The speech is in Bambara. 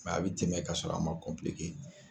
a bɛ tɛmɛ ka sɔrɔ a ma